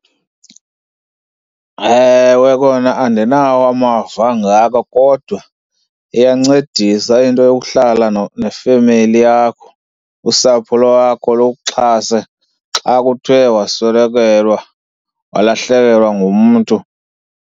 Ewe kona, andinawo amava angako kodwa iyancedisa into yokuhlala nefemeli yakho, usapho lwakho, lukuxhase xa kuthwe waswelekelwa, walahlekelwa, ngumntu.